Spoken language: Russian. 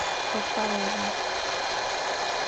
подпорожье